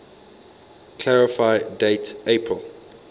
clarify date april